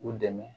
U dɛmɛ